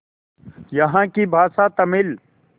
यहाँ की भाषा तमिल